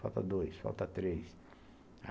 Falta dois, falta três.